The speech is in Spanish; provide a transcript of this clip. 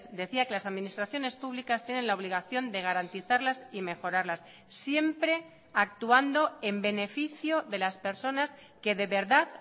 decía que las administraciones públicas tienen la obligación de garantizarlas y mejorarlas siempre actuando en beneficio de las personas que de verdad